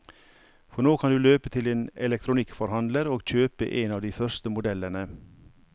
For nå kan du løpe til din elektronikkforhandler og kjøpe en av de første modellene.